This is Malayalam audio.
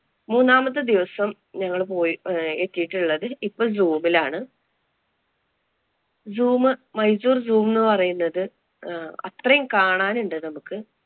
മൂന്നാമത്തെ ദിവസം ഞങ്ങള്‍ പോയി അഹ് എത്തിയിട്ടുള്ളത് ഇപ്പൊ zoom ലാണ്. Zoom മൈസൂര്‍ zoom എന്ന് പറയുന്നത് അത്രയും കാണാനുണ്ട് നമുക്ക്.